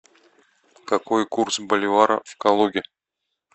какой курс боливара в калуге